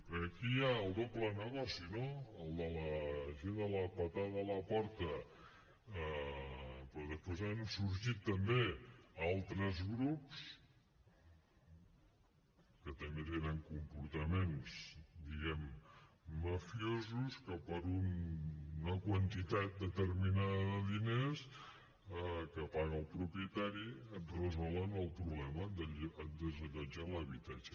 perquè aquí hi ha el doble negoci no el de la gent de la puntada a la porta però després han sorgit també altres grups que també tenen comportaments diguem ne mafiosos que per una quantitat determinada de diners que paga el propietari et resolen el problema et desallotgen l’habitatge